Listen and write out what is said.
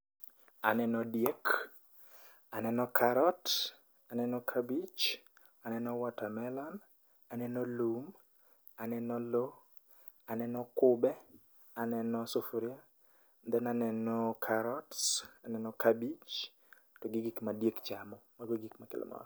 Aneno diek, aneno karot, aneno kabich, aneno watermelon, aneno lum, aneno lo, aneno kube, aneno sufuria, then aneno carrots, aneno kabich, to gi gik ma diek chamo. Mago e gik ma kelonwa.